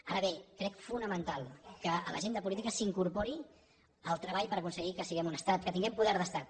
ara bé crec fonamental que a l’agenda política s’hi incorpori el treball per aconseguir que siguem un estat que tinguem poder d’estat